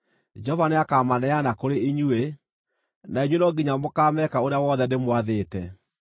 Jehova nĩakamaneana kũrĩ inyuĩ, na inyuĩ no nginya mũkaameeka ũrĩa wothe ndĩmwathĩte.